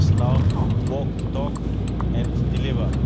They must now walk the talk' and deliver.